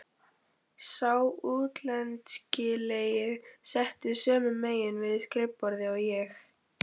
Sá útlendingslegi settist sömu megin við skrifborðið og ég.